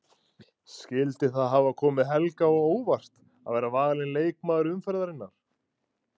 Skyldi það hafa komið Helga á óvart að vera valinn leikmaður umferðarinnar?